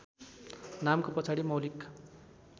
नामको पछाडि मौलिक